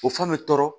O fɛn bɛ tɔɔrɔ